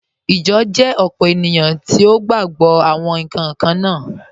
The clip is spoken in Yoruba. Ijọ jẹ opó ènìyàn tí o gba gbọ̀ awọn nkan kanna.